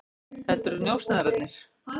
Þetta eru njósnararnir.